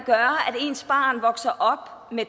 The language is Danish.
ens barn vokser op med